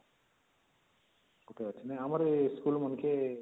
ନାଇଁ ଆମର ଏ school ମାନକେ